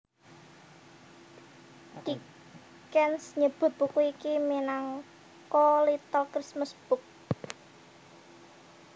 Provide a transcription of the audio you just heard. Dickens nyebut buku iki minangka Little Christmas Book